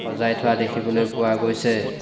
সজাই থোৱা দেখিবলৈ পোৱা গৈছে।